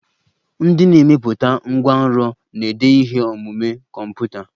Ndị na-emepụta ngwanrọ na-ede ihe omume kọmputa.